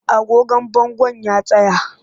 Agogon bangon ya tsaya